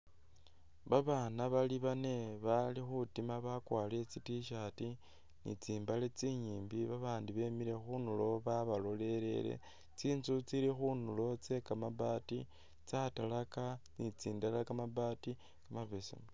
Babana bali bane bali khutima bakwarile tsi T-shirt ni tsimbal tsinyimbi babandi bemile khundulo babalolelele tsintsu tsili khundulo tse kamabaati tsa talaka ni tsindala kamabaati mabesemu.